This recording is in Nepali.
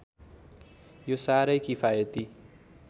यो साह्रै किफायती